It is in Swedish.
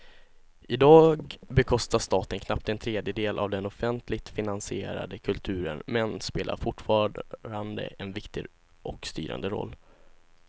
Idag bekostar staten knappt en tredjedel av den offentligt finansierade kulturen men spelar fortfarande en viktig och styrande roll.